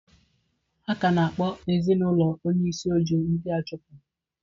Ha ka na-akpọ ezinaụlọ onye isi Ojo ndị achụpụ.